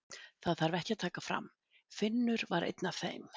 Það þarf ekki að taka það fram, Finnur var einn af þeim.